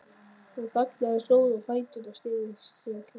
Hún þagnaði, stóð á fætur og sneri sér frá þeim.